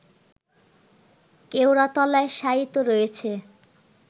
কেওড়াতলায় শায়িত রয়েছে